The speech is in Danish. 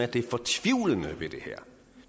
det fortvivlende ved det her